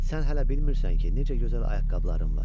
Sən hələ bilmirsən ki, necə gözəl ayaqqabıların var.